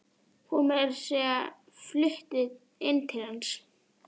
Hún er meira að segja flutt inn til hans.